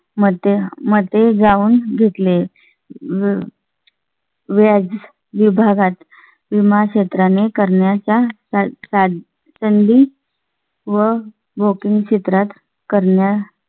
मध्ये मध्ये जाऊन घेतले व्याज विभागात विमा क्षेत्राने करण्याच्या सं अह संधी व भौगोलिक क्षेत्रात करण्यात